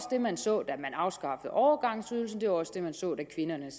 det man så da man afskaffede overgangsydelsen og det var også det man så da kvinderne